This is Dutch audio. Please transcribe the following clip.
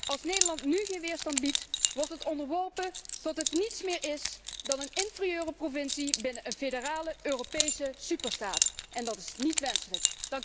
Als Nederland nu geen weerstand biedt, wordt het onderworpen tot het niets meer is dan een inferieure provincie binnen een federale Europese superstaat, en dat is niet wenselijk.